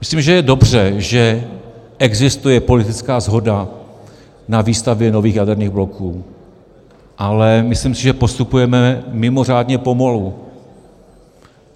Myslím, že je dobře, že existuje politická shoda na výstavbě nových jaderných bloků, ale myslím si, že postupujeme mimořádně pomalu.